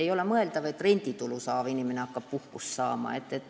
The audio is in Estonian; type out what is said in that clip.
Ei ole näiteks mõeldav, et renditulu saav inimene hakkab puhkust saama.